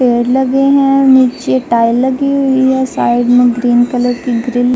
पेड़ लगे है। नीचे टाइल लगी हुई है। साइड में ग्रीन कलर की ग्रील --